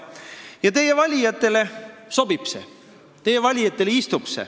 Teie valijatele see sobib, teie valijatele see istub.